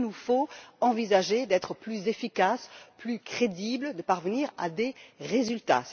Il nous faut envisager d'être plus efficaces, plus crédibles afin de parvenir à des résultats.